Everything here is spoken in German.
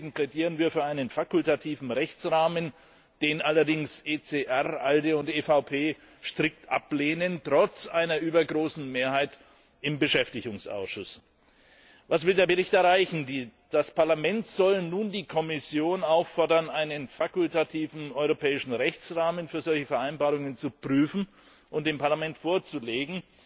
Deswegen plädieren wir für einen fakultativen Rechtsrahmen, den allerdings ECR, ALDE und EVP trotz einer übergroßen Mehrheit im Beschäftigungsausschuss strikt ablehnen. Was will der Bericht erreichen? Das Parlament soll nun die Kommission auffordern, einen fakultativen europäischen Rechtsrahmen für solche Vereinbarungen zu prüfen und dem Parlament vorzulegen.